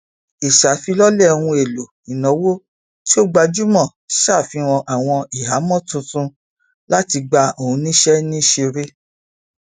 ìṣàfilọlẹ ohun èlò ìnáwó tí ó gbajúmọ ṣàfihàn àwọn ìhàmọ tuntun láti gba àwọn oníṣe níṣìírí